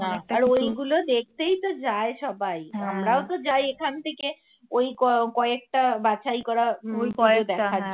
আর ঐগুলো দেখতেই তো যায় সবাই আমরাও তো যাই এখানথেকে ওই কয়েকটা বাছাই করা